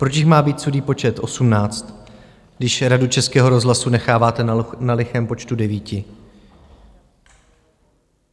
Proč jich má být sudý počet osmnáct, když Radu Českého rozhlasu necháváte na lichém počtu devíti?